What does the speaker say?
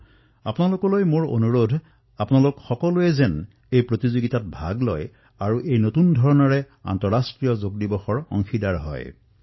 মই আপোনালোকক অনুৰোধ কৰিছো যে আপোনালোকে এই প্ৰতিযোগিতাত অৱশ্যেই অংশগ্ৰহণ কৰক আৰু নতুন ধৰণে আন্তঃৰাষ্ট্ৰীয় যোগ দিৱসৰ অংশীদাৰ হওক